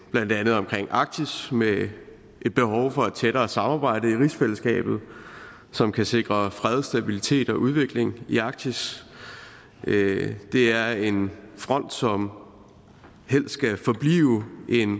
blandt andet omkring arktis med et behov for tættere samarbejde i rigsfællesskabet som kan sikre fred stabilitet og udvikling i arktis det er en front som helst skal forblive en